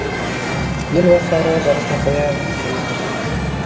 ел басқаруға жараса қояр ма екен